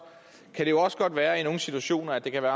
kan det jo også godt være i nogle situationer at det kan være